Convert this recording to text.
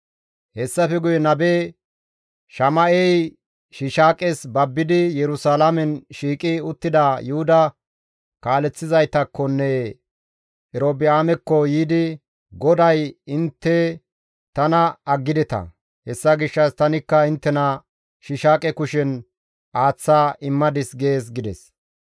Hessafe guye nabe Shama7ey Shiishaaqes babbidi Yerusalaamen shiiqi uttida Yuhuda kaaleththizaytakkonne Erobi7aamekko yiidi, «GODAY, ‹Intte tana aggideta; hessa gishshas tanikka inttena Shiishaaqe kushen aaththa immadis› gees» gides.